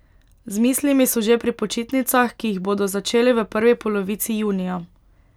Z mislimi so že pri počitnicah, ki jih bodo začeli v prvi polovici junija.